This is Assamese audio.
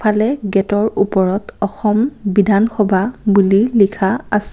আগফালে গেটৰ ওপৰত অসম বিধানসভা বুলি লিখা আছে।